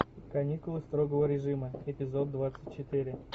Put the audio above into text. каникулы строгого режима эпизод двадцать четыре